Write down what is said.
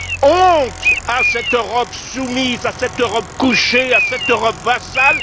Honte à cette Europe soumise, à cette Europe couchée, à cette Europe vassale!